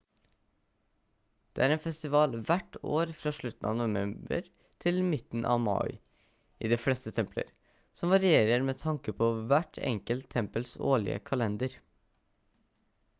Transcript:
det er en festival hvert år fra slutten av november til midten av mai i de fleste templer som varierer med tanke på hvert enkelte tempels årlige kalender